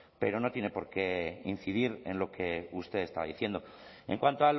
pero no tiene porqué incidir en lo que usted estaba diciendo en cuanto